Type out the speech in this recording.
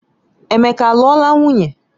Emeka aluola nwunye?